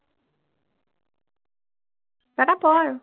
এটা পঢ় আৰু